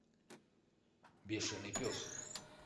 бешеный пес